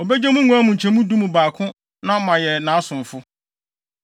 Obegye mo nguan mu nkyɛmu du mu baako na moayɛ nʼasomfo.